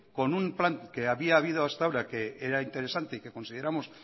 con un plan que había habido hasta ahora que era interesante y que consideramos